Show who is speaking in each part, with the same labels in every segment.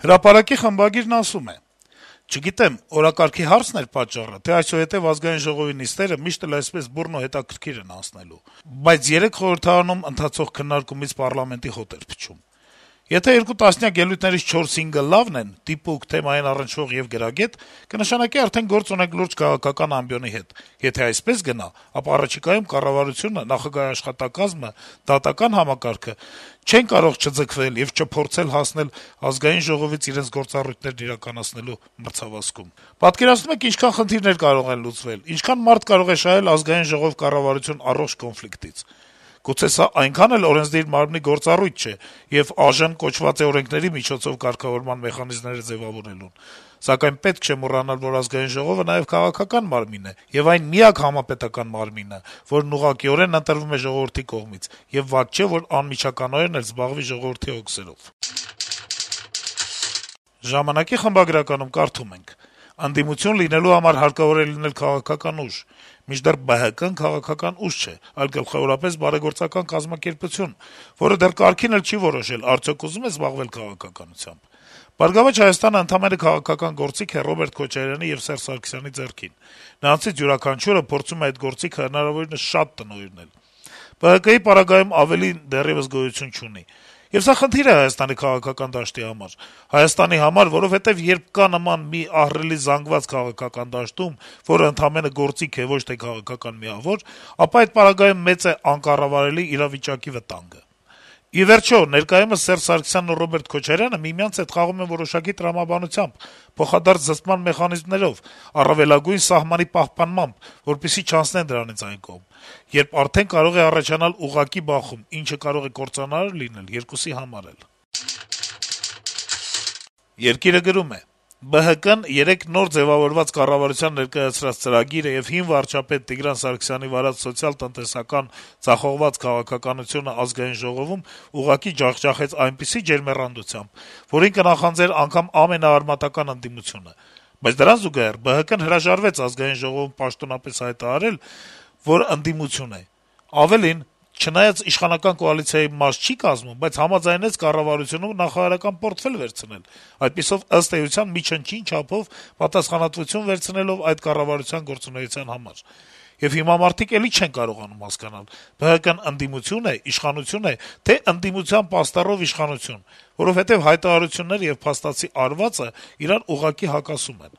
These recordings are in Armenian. Speaker 1: «Հրապարակ»-ի խմբագիրը գրում է. - «Չգիտեմ, օրակարգի հարցն էր պատճառը, թե այսուհետ Ազգային ժողովի նիստերը միշտ են այսպես բուռն ու հետաքրքիր անցնելու, բայց երեկ խորհրդարանում ընթացող քննարկումից պառլամենտի «հոտ» էր փչում: Եթե երկու տասնյակ ելույթներից 4-5-ը լավն են՝ դիպուկ, թեմային առնչվող եւ գրագետ, կնշանակի արդեն գործ ունենք լուրջ քաղաքական ամբիոնի հետ: Եթե այսպես գնա, ապա առաջիկայում կառավարությունը, նախագահի աշխատակազմը, դատական համակարգը չեն կարող չձգտել եւ չփորձել հասնել ԱԺ-ին իրենց գործառույթներն իրականացնելու մրցավազքում։ Պատկերացնո՞ւմ եք՝ ինչքան խնդիրներ կարող են լուծվել, ինչքան մարդ կարող է շահել ԱԺ-կառավարություն առողջ կոնֆլիկտից: Գուցե սա այնքան էլ օրենսդիր մարմնի գործառույթ չէ, եւ ԱԺ-ն կոչված է օրենքների միջոցով կարգավորման մեխանիզմներ ձեւավորելու, սակայն պետք չէ մոռանալ, որ Ազգային ժողովը նաեւ քաղաքական մարմին է եւ այն միակ համապետական մարմինը, որն ուղղակիորեն ընտրվում է ժողովրդի կողմից, եւ վատ չէ, որ անմիջականորեն էլ զբաղվի ժողովրդի հոգսերով»: «Ժամանակ-ի խմբագրականում կարդում ենք. - «Ընդդիմություն լինելու համար հարկավոր է լինել քաղաքական ուժ, մինչդեռ ԲՀԿ-ն քաղաքական ուժ չէ, այլ գլխավորապես բարեգործական կազմակերպություն, որը դեռ կարգին չի էլ որոշել, թե արդյոք ուզո՞ւմ է զբաղվել քաղաքականությամբ: «Բարգավաճ Հայաստան»-ն ընդամենը քաղաքական գործիք է Ռոբերտ Քոչարյանի եւ Սերժ Սարգսյանի ձեռքին: Նրանցից յուրաքանչյուրը փորձում է այդ գործիքը հնարավորինս շատ տնօրինել: ԲՀԿ-ի պարագայում ավելին դեռեւս գոյություն չունի: Եվ սա խնդիր է Հայաստանի քաղաքական դաշտի համար, Հայաստանի համար, որովհետեւ երբ կա նման մի ահռելի զանգված քաղաքական դաշտում, որը ընդամենը գործիք է, ոչ թե քաղաքական միավոր, ապա այդ պարագայում մեծ է անկառավարելի իրավիճակի վտանգը: Ի վերջո, ներկայումս Սերժ Սարգսյանն ու Ռոբերտ Քոչարյանը միմյանց հետ խաղում են որոշակի տրամաբանությամբ, փոխադարձ զսպման մեխանիզմներով, առավելագույն սահմանի պահպանմամբ, որպեսզի չանցնեն դրանից այն կողմ, երբ արդեն կարող է առաջանալ ուղղակի բախում, ինչը կարող է կործանարար լինել երկուսի համար էլ»: «Երկիր»-ը գրում է. - «ԲՀԿ-ն երեկ նոր ձեւավորված կառավարության ներկայացրած ծրագիրը եւ հին վարչապետ Տիգրան Սարգսյանի վարած սոցիալ-տնտեսական ձախողված քաղաքականությունը ԱԺ-ում ուղղակի ջախջախեց այնպիսի ջերմեռանդությամբ, որին կնախանձեր անգամ ամենաարմատական ընդդիմությունը: Բայց դրան զուգահեռ ԲՀԿ-ն հրաժարվեց ԱԺ-ում պաշտոնապես հայտարարել, որ ընդդիմություն է: Ավելին` չնայած իշխանական կոալիցիայի մաս չի կազմում, բայց համաձայնեց կառավարությունում նախարարական պորտֆել վերցնել` այդպիսով, ըստ էության, մի չնչին չափով պատասխանատվություն վերցնելով այդ կառավարության գործունեության համար: Եվ հիմա մարդիկ էլի չեն կարողանում հասկանալ` ԲՀԿ-ն ընդդիմությո՞ւն է, իշխանությո՞ւն, թե՞ ընդդիմության պաստառով իշխանություն: Որովհետեւ հայտարարությունները եւ փաստացի արվածն իրար ուղղակի հակասում են»: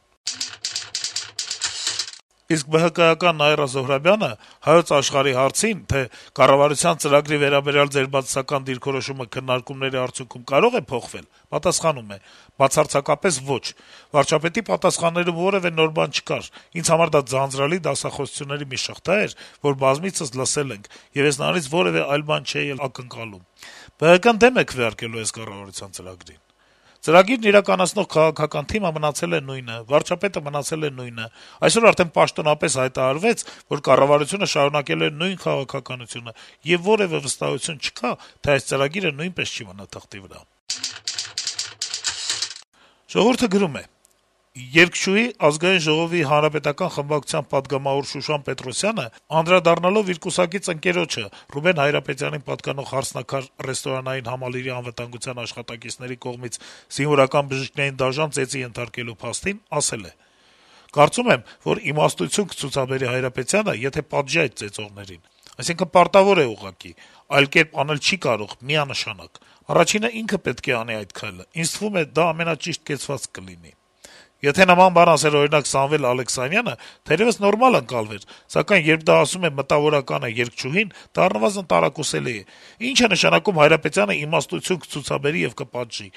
Speaker 1: ԲՀԿ-ի խորհրդարանական խմբակցության քարտուղար Նաիրա Զոհրաբյանը «Հայոց Աշխարհ»-ի հարցին` կառավարության ծրագրի վերաբերյալ ձեր բացասական դիրքորոշումը քննարկումների արդյունքում կարո՞ղ է փոխվել, պատասխանել է. - «Բացարձակապե՛ս ոչ։ Վարչապետի պատասխաններում որեւէ նոր բան չկար՝ ինձ համար դա ձանձրալի դասախոսությունների մի շղթա էր, որ բազմիցս լսել ենք, եւ ես նրանից որեւէ այլ բան չէի էլ ակնկալում։ ԲՀԿ-ն դեմ է քվեարկելու այս կառավարության ծրագրին։ Ծրագիրն իրականացնող քաղաքական թիմը մնացել է նույնը, վարչապետը մնացել է նույնը, այսօր արդեն պաշտոնապես հայտարարվեց, որ կառավարությունը շարունակելու է նույն քաղաքականությունը, եւ որեւէ վստահություն չկա, թե այս ծրագիրը նույնպես չի մնա թղթի վրա»։ «Ժողովուրդ»-ը գրում է. - «Երգչուհի, Ազգային Ժողովի ՀՀԿ խմբակցության պատգամավոր Շուշան Պետրոսյանը, անդրադառնալով իր կուսակից ընկերոջը` Ռուբեն Հայրապետյանին պատկանող «Հարսնաքար» ռեստորանային համալիրի անվտանգության աշխատակիցների կողմից զինվորական բժիշկներին դաժան ծեծի ենթարկելու փաստին, ասել է. «Կարծում եմ, որ իմաստություն կցուցաբերի Հայրապետյանը, եթե պատժի այդ ծեծողներին, այսինքն` պարտավոր է ուղղակի, այլ կերպ անել չի կարող, միանշանակ: Առաջինը ինքը պետք է անի այդ քայլը, ինձ թվում է, դա ամենաճիշտ կեցվածքը կլինի»: Եթե նման բան ասեր, օրինակ, Սամվել Ալեքսանյանը, թերեւս նորմալ ընկալվեր, սակայն երբ դա ասում է մտավորականը, երգչուհին, դա առնվազն տարակուսելի է: Ի՞նչ է նշանակում` Հայրապետյանը «իմաստություն կցուցաբերի» եւ կպատժի: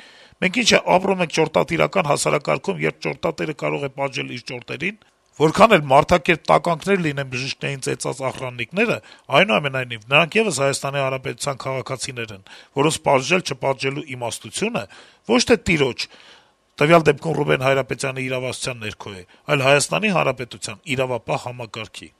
Speaker 1: Մենք ի՞նչ է, ապրում ենք ճորտատիրական հասարակարգում, երբ ճորտատերը կարող է «պատժել» իր ճորտերին: Որքան էլ մարդակերպ տականքներ լինեն բժիշկներին ծեծած «ախրաննիկները», այնուամենայնիվ, նրանք եւս ՀՀ քաղաքացիներ են, որոնց պատժել-չպատժելու «իմաստությունը» ոչ թե «տիրոջ»` տվյալ դեպքում Ռուբեն Հայրապետյանի իրավասության ներքո է, այլ Հայաստանի Հանրապետության իրավապահ համակարգի»: